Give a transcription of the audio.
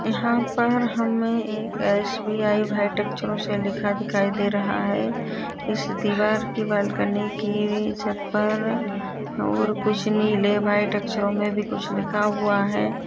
यहाँ पर हमे एक एस_बी_आई लिखा दिखाई दे रहा है इस दीवार की बालकनी की छत पर और कुछ नीले वाइट अक्षरों मे कुछ लिखा हुआ है।